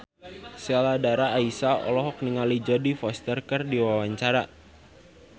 Sheila Dara Aisha olohok ningali Jodie Foster keur diwawancara